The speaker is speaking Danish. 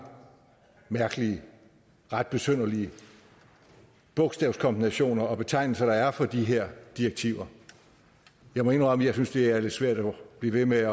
mærkelige og ret besynderlige bogstavkombinationer og betegnelser der er for de her direktiver jeg må indrømme at jeg synes det er lidt svært at blive ved med